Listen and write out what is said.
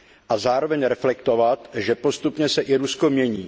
A zároveň reflektovat, že postupně se i Rusko mění.